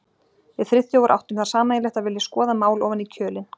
Við Friðþjófur áttum það sameiginlegt að vilja skoða mál ofan í kjölinn.